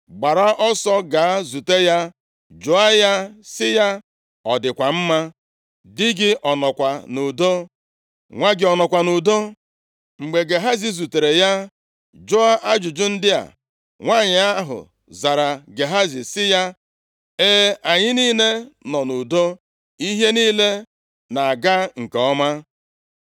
Gbara ọsọ gaa zute ya jụọ ya sị ya, ‘Ọ dịkwa mma? Dị gị ọ nọkwa nʼudo? Nwa gị ọ nọkwa nʼudo?’ ” Mgbe Gehazi zutere ya jụọ ajụjụ ndị a, nwanyị ahụ zara Gehazi sị ya, “E, anyị niile nọ nʼudo, ihe niile na-aga nke ọma.”